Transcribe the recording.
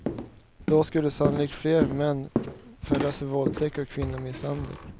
Då skulle sannolikt fler män fällas för våldtäkt och kvinnomisshandel.